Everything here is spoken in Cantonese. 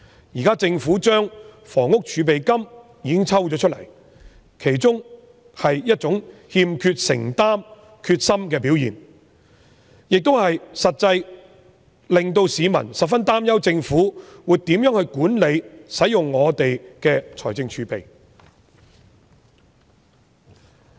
現時政府抽走了房屋儲備金，是一種欠缺承擔和決心的表現，實際上令到市民十分擔憂政府會如何管理及使用本港的財政儲備。